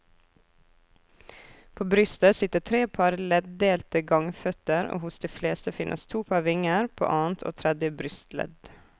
På brystet sitter tre par leddelte gangføtter og hos de fleste finnes to par vinger, på annet og tredje brystledd.